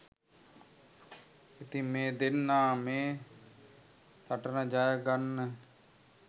ඉතින් මේ දෙන්නා මේ සටන ජය ගන්න